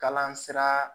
Kalan sira